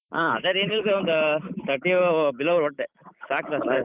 ಅದೇ ರೀ ಒಟ್ ಒಂದ್ thirty below ಒಟ್ ಸಾಕ್ .